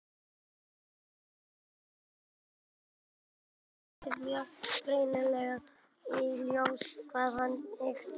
Kjósandi þarf þá að geta látið mjög greinilega í ljós hvað hann hyggst kjósa.